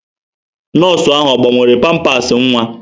Nọọsụ ahụ ọ gbanwere pampasị nwa?